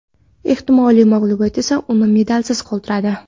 Ehtimoliy mag‘lubiyat esa uni medalsiz qoldiradi.